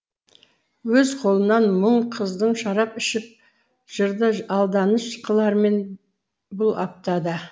өз қолынан мұң қыздың шарап ішіп жырды алданыш қылармен бұл аптада